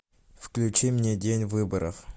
включи мне день выборов